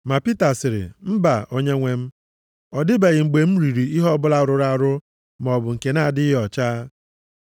Ma Pita sịrị, “Mba, Onyenwe m. Ọ dịbeghị mgbe m riri ihe ọbụla rụrụ arụ maọbụ nke na-adịghị ọcha.”